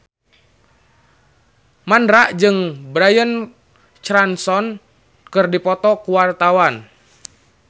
Mandra jeung Bryan Cranston keur dipoto ku wartawan